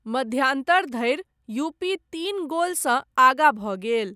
मध्यान्तर धरि, यूपी, तीन गोलसँ आगाँ भऽ गेल।